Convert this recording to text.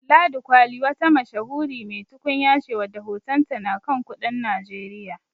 Ladi kwali wata mashahuri mai tukunya ce wadda hotonta na kan kudin Najeriya.